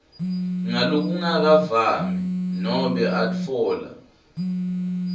ngalokungakavami nobe atfola